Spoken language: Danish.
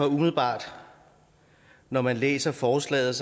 umiddelbart når man læser forslaget